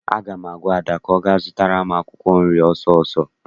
Aga m agwa Ada ka ọ gaa zụtara m akwụkwọ nri ọsọọsọ!